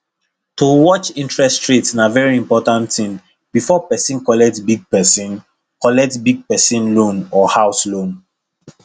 to watch interest rate na very important thing before person collect big person collect big personal loan or house loan